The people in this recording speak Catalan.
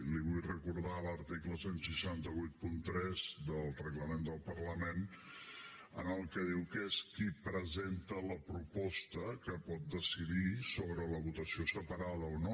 li vull recordar l’article setze vuitanta tres del reglament del parlament en el que diu que és qui presenta la proposta que pot decidir sobre la votació separada o no